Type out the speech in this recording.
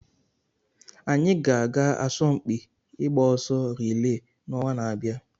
Anyị ga-aga asọmpi ịgba ọsọ riilee n'ọnwa na-abịa.